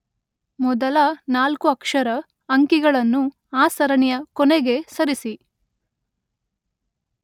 ಮೊದಲ ನಾಲ್ಕು ಅಕ್ಷರ, ಅಂಕಿಗಳನ್ನು ಆ ಸರಣಿಯ ಕೊನೆಗೆ ಸರಿಸಿ.